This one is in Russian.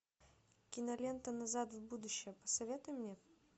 кинолента назад в будущее посоветуй мне